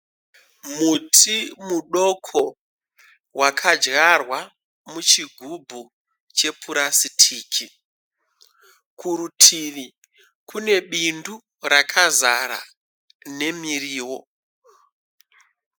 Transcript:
Muti mudoko wakadyarwa muchigubhu chepurasitiki. Kurutivi kune bindu rakazara nemiriwo.